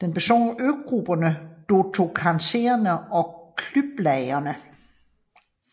Den består af øgrupperne Dodekaneserne og Kykladerne